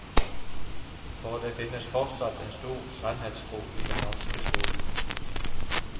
For det finnes fortsatt en stor sannhetstro i den norske skolen.